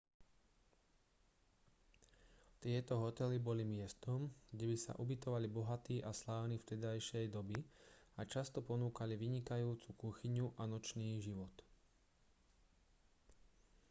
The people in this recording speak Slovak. tieto hotely boli miestom kde by sa ubytovali bohatí a slávni vtedajšej doby a často ponúkali vynikajúcu kuchyňu a nočný život